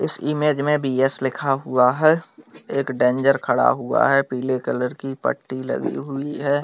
इस इमेज में भी यस लिखा हुआ है एक डेंजर खड़ा हुआ है पीले कलर की पट्टी लगी हुई है।